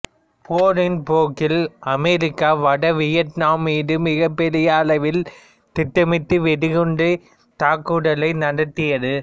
போரின் போக்கில் அமெரிக்கா வட வியட்நாமின் மீது மிகப் பெரிய அளவில் திட்டமிட்ட வெடிகுண்டுத் தாக்குதல்களை நடத்தியது